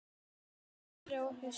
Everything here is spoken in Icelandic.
Að vori og hausti.